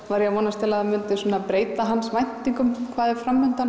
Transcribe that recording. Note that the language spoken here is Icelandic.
var ég að vona að það myndi breyta hans væntingum um hvað væri